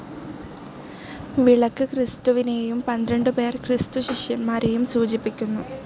വിളക്ക് ക്രിസ്തുവിനേയും പന്ത്രണ്ടുപേർ ക്രിസ്തുശിഷ്യന്മാരേയും സൂചിപ്പിക്കുന്നു.